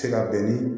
Se ka bɛn ni